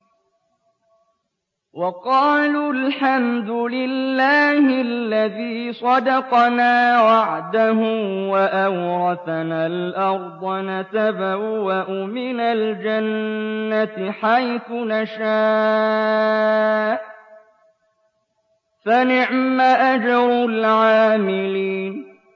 وَقَالُوا الْحَمْدُ لِلَّهِ الَّذِي صَدَقَنَا وَعْدَهُ وَأَوْرَثَنَا الْأَرْضَ نَتَبَوَّأُ مِنَ الْجَنَّةِ حَيْثُ نَشَاءُ ۖ فَنِعْمَ أَجْرُ الْعَامِلِينَ